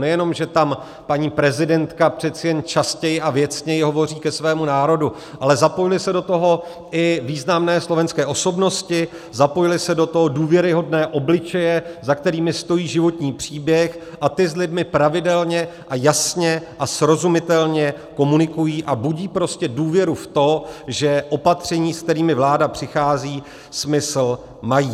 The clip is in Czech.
Nejenom že tam paní prezidentka přece jen častěji a věcněji hovoří ke svému národu, ale zapojily se do toho i významné slovenské osobnosti, zapojily se do toho důvěryhodné obličeje, za kterými stojí životní příběh, a ty s lidmi pravidelně a jasně a srozumitelně komunikují a budí prostě důvěru v to, že opatření, se kterými vláda přichází, smysl mají.